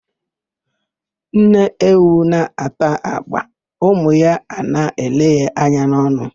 Nne ewu na-ata agba, ụmụ ya a na-ele ya anya n'ọnụ.